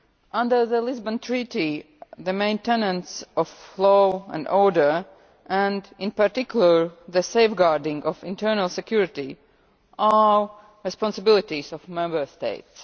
Under the Lisbon Treaty the maintenance of law and order and, in particular, the safeguarding of internal security are responsibilities of the Member States.